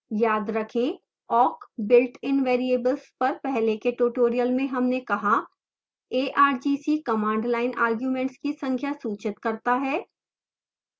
याद रखें awk builtin variables पर पहले के tutorial में हमने कहा